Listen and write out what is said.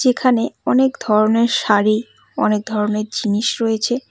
এখানে অনেক ধরনের শাড়ি অনেক ধরনের জিনিস রয়েছে।